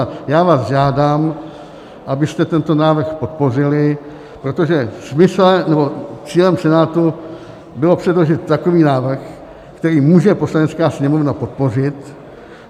A já vás žádám, abyste tento návrh podpořili, protože cílem Senátu bylo předložit takový návrh, který může Poslanecká sněmovna podpořit.